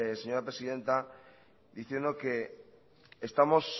señora presidenta diciendo que estamos